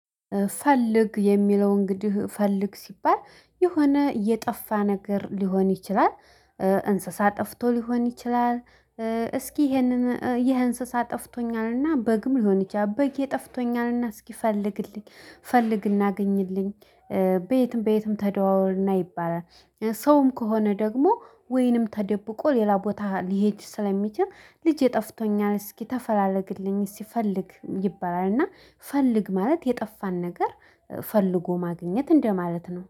ፈልግ የሚለው እንግዲህ ፈልግ ሲባል የሆነ እየጠፋ ነገር ሊሆን ይችላል። እንስሳ ጠፍቶ ሊሆን ይችላል። እስኪ ይሄንን ይሄ እንስሳ ጠፍቶኛልና በግም ሊሆን ይችላል በግየ ጠፍቶኛልና እስኪ ፈልግልኝ ፈልግ እና አግኝልኝ። በየትም በየትም ተደዋወልና ይባላል። ሰውም ከሆነ ደግሞ ወይንም ተደብቆ ሌላ ቦታ ሊሄድ ስለሚችል ልጄ ጠፍቶኛል እስኪ ተፈላለግልኝ ፈልግ ይባላል። እና ፈልግ ማለት የጠፋን ነገር ፈልጎ ማግኘት እንደማለት ነው